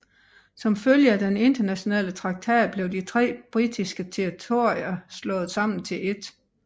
Som følge af denne internationale traktat blev de tre britiske territorier slået sammen til ét